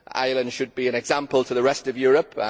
Ireland should be an example to the rest of Europe.